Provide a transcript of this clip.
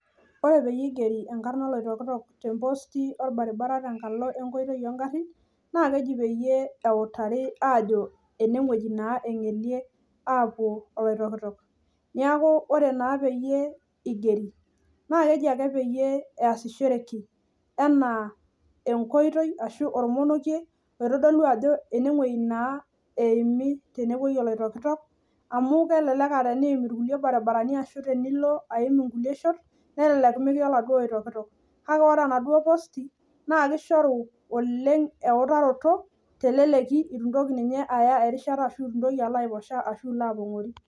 Ore peyie eigeri enkarna oloitokitok te post orbaribaribara tenkoitoi oo garrin naa keji peyie eutari aajo enewueji engelie aapuo oloitokitok. Amu kelelek aaa teneyim enkae wueji nimin kake teniim enaduo oitoi nemintoki aiming katukul.